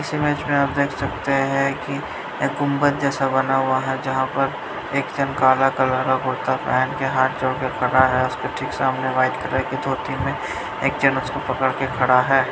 इस इमेज में आप देख सकते हैं कि ये गुंबद जैसा बना हुआ है जहां पर एक जन काला कलर का कुर्ता पहन के हाथ जोड़ के खड़ा है उसके ठीक सामने व्हाइट कलर की धोती में एक जेंट्स उसको पकड़ के खड़ा है।